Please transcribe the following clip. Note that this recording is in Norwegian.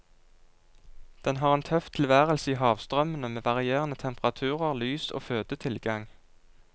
Den har en tøff tilværelse i havstrømmene med varierende temperaturer, lys og fødetilgang.